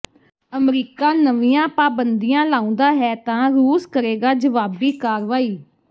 America ਨਵੀਆਂ ਪਾਬੰਦੀਆਂ ਲਾਉਂਦਾ ਹੈ ਤਾਂ ਰੂਸ ਕਰੇਗਾ ਜਵਾਬੀ ਕਾਰਵਾਈ